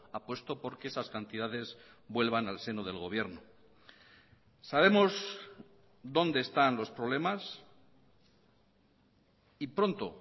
apuesto por que esas cantidades vuelvan al seno del gobierno sabemos dónde están los problemas y pronto